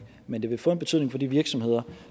men det vil få en betydning for de virksomheder